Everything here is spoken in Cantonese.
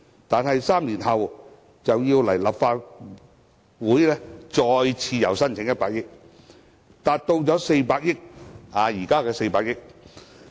但是 ，3 年後便要前來立法會再次申請增加100億元，達至現時的400億元。